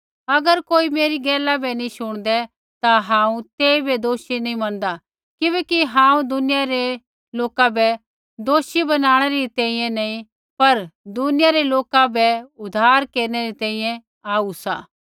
अगर कोई मेरी गैला बै नैंई शूणदै ता हांऊँ तेइबै दोषी नैंई मनदा किबैकि हांऊँ दुनिया रै लोका बै दोषी बनाणै री तैंईंयैं नैंई पर दुनिया रै लोका रा उद्धार केरनै री तैंईंयैं आऊ सा